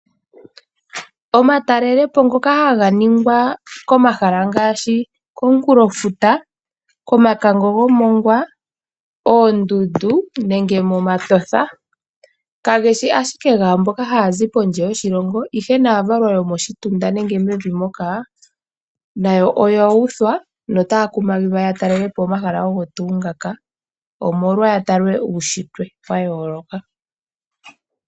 Omatalele po ngoka haga ningwa komahala ngaashi okomunkulofuta, komakango gomongwa, oondundu nenge momatosha kageshi ashike gaamboka haya zi kondje yoshilongo , ihe naavalwa yomoshitunda nenge mevi moka nayo oya uthwa notaya kumagidhwa ya talele po omahala ogo tuu ngaka omolwa ya tale uushitwe wa yooloka.